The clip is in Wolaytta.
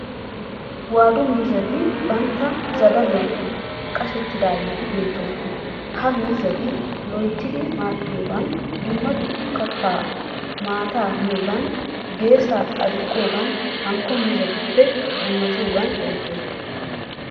Waadu miizzati bantta zadaluwan qashettidageeti beettoosona. Ha miizzati loyittidi maaxxiyogaan, dumma kattaanne maata miyoogan, geesaa aduqqiyogaan hanikko miizzatuppe dummatiyoogan erettoosona.